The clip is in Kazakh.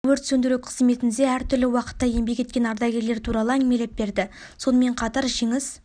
өрт сөндіру кызметінде әр түрлі уақытта еңбек еткен ардагерлер туралы әңгімелеп берді сонымен қатар жеңіс